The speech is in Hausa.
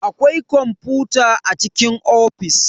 Akwai kwamfuta a cikin ofis.